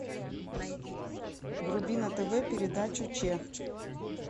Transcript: вруби на тв передачу ч